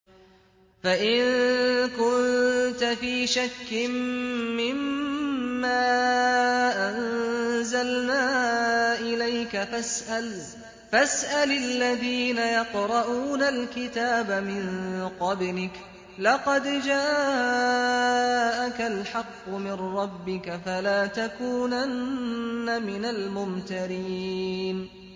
فَإِن كُنتَ فِي شَكٍّ مِّمَّا أَنزَلْنَا إِلَيْكَ فَاسْأَلِ الَّذِينَ يَقْرَءُونَ الْكِتَابَ مِن قَبْلِكَ ۚ لَقَدْ جَاءَكَ الْحَقُّ مِن رَّبِّكَ فَلَا تَكُونَنَّ مِنَ الْمُمْتَرِينَ